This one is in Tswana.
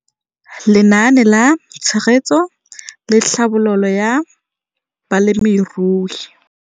Lenaane la Tshegetso le Tlhabololo ya Balemirui